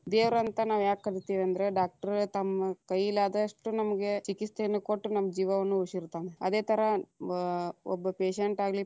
ದೇವರ ಅಂತ ನಾವ ಯಾಕ ಕರಿತೀವಿ ಅಂದ್ರ doctor ತಮ್ಮ ಕೈಲಾದಷ್ಟು ನಮಗೆ ಚಿಕಿತ್ಸೆಯನ್ನು ಕೊಟ್ಟು ನಮ್ಮ ಜೀವಾವನ್ನು ಉಳಿಸಿರ್ತಾನ, ಅದೇ ತರಾ ಬ ಒಬ್ಬ patient ಆಗಲಿ.